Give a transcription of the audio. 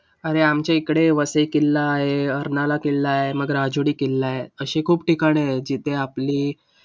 अरे, आमच्याकडे वसई किल्ला आहे, अर्नाळा किल्ला आहे, मग राजुरी किल्ला आहे अशी खूप ठिकाणी आहेत जिथे आपली.